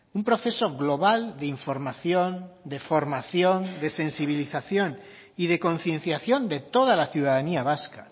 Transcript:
un proceso global de información de formación de sensibilización y de concienciación de toda la ciudadanía vasca